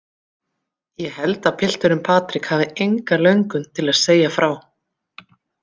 Ég held að piltunginn Patrik hafi enga löngun til að segja frá.